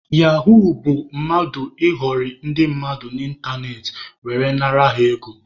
Yahuu bụ mmadụ ịghọrị ndị mmadụ n'ịntanetị were nara ha ego.